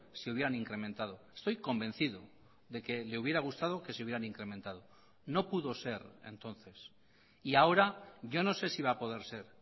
se hubieran incrementado estoy convencido de que le hubiera gustado que se hubieran incrementado no pudo ser entonces y ahora yo no sé si va a poder ser